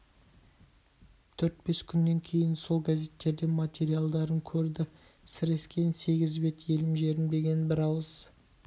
төрт-бес күннен кейін сол газеттен материалдарын көрді сірескен сегіз бет елім жерім деген бірауыз